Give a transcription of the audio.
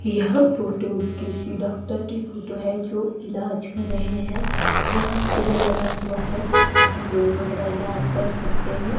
यह फोटो किसी डॉक्टर की फोटो है जो इलाज कर रहे हैं यहां सिविल लगा हुआ है जहां लोग अपना इलाज कर सकते हैं।